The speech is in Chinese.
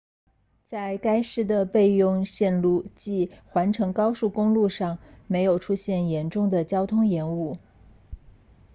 在该市的备用线路即环城高速公路上没有出现严重的交通延误